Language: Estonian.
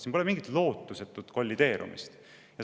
Siin pole mingit lootusetut kollideerumist!